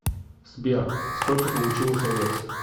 сбер сколько получилось овец